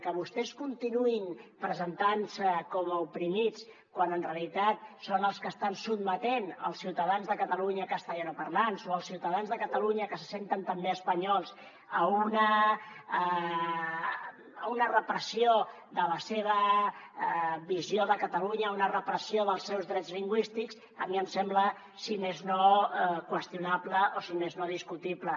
que vostès continuïn presentant se com a oprimits quan en realitat són els que estan sotmetent els ciutadans de catalunya castellanoparlants o els ciutadans de catalunya que se senten també espanyols a una repressió de la seva visió de catalunya a una repressió dels seus drets lingüístics a mi em sembla si més no qüestionable o si més no discutible